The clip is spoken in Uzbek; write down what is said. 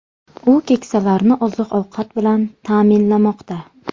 U keksalarni oziq-ovqat bilan ta’minlamoqda .